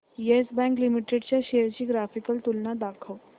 yes Bank Limited च्या shares ची graphical तुलना दाखव